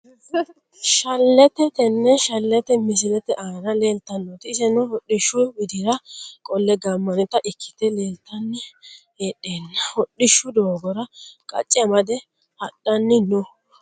Shaleete tene shaleete misilete aana leeltanota iseno hodhishu widira qolle gaamanita ikite leeltani heedhena hodhishshu doogora qacce amade hadhani noo.